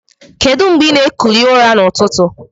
Kedu ngbe ina ekuli ụra na ụtụtụ?